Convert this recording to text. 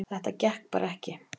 Þetta gekk bara ekki